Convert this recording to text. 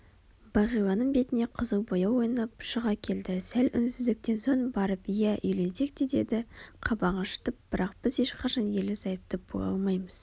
бағиланың бетіне қызыл бояу ойнап шыға келді сәл үнсіздіктен соң барып иә үйленсек те деді қабағын шытып бірақ біз ешқашан ерлі-зайыпты бола алмаймыз